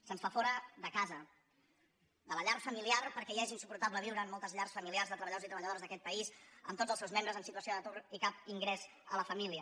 se’ns fa fora de casa de la llar familiar perquè ja és insuportable viure en moltes llars familiars de treballadors i treballadores d’aquest país amb tots els seus membres en situació d’atur i cap ingrés a la família